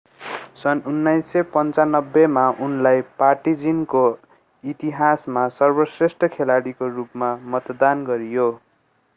सन् 1995 मा उनलाई पार्टिजानको इतिहासमा सर्वश्रेष्ठ खेलाडीको रूपमा मतदान गरियो